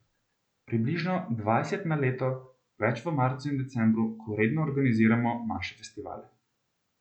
Približno dvajset na leto, več v marcu in decembru, ko redno organiziramo manjše festivale.